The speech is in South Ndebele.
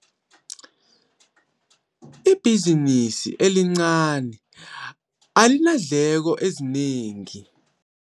Ibhizinisi elincani alinandleko ezinengi.